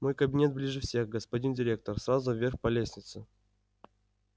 мой кабинет ближе всех господин директор сразу вверх по лестнице